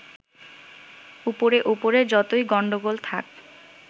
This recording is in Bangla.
উপরে উপরে যতই গন্ডগোল থাক